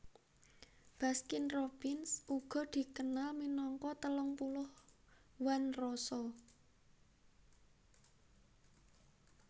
Baskin Robbins uga dikenal minangka telung puluh One Roso